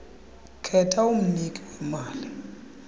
khetha umniki wemali